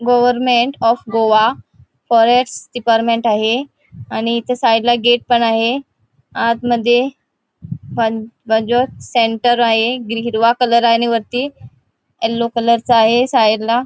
Government of Goa forest department आहे आणि इथे साइड ला गेट पण आहे आत मध्ये सेंटर आहे ग्री हिरवा कलर आहे आणि वरती येल्लो कलरचा आहे साइड ला.